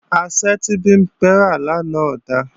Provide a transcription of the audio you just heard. Asẹ́ tí Bimpé rà lánàá ò da